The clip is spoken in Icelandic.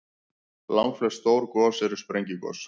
Langflest stór gos eru sprengigos.